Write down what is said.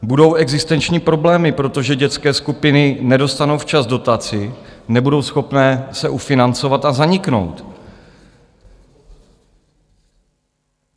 Budou existenční problémy, protože dětské skupiny nedostanou včas dotaci, nebudou schopné se ufinancovat a zaniknou.